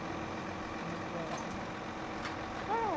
De, de como é que era, né? Ah!